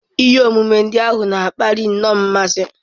Ihe omume ndị ahụ na-akpali nnọọ mmasị.